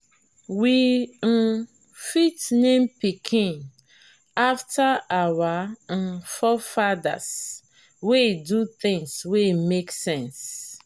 we um fit name pikin after our um forefathers wey do things wey make sense